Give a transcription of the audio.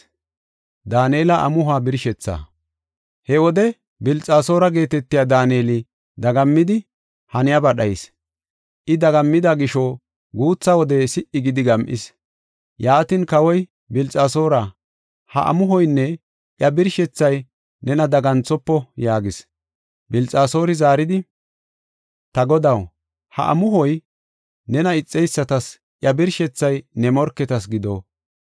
He wode Bilxasoora geetetiya Daaneli dagammidi, haniyaba dhayis. I dagammida gisho guutha wode si77i gidi gam7is. Yaatin, kawoy, “Bilxasoora, ha amuhoynne iya birshethay nena daganthofo” yaagis. Bilxasoori zaaridi, “Ta godaw, ha amuhoy nena ixeysatas, iya birshethay ne morketas gido.